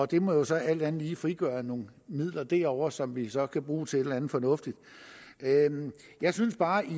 det må jo så alt andet lige frigøre nogle midler derovre som vi så kan bruge til et eller andet fornuftigt jeg synes bare ikke